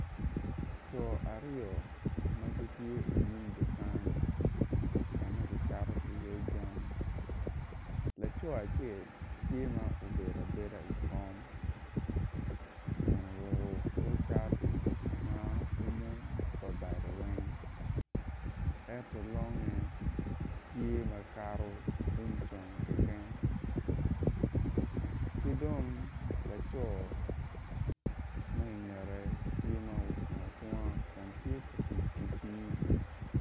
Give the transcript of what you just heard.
Co aryo ma gitye inyim dukan ka ma kicato iye jami laco acel tye ma obedo abeda i kom kun oruko kor cati ma umo wa bade weng ento longe tye makato um conge keken ki dong laco ma ingete ttye ma ocung acunga kun tye ka tic ki cim.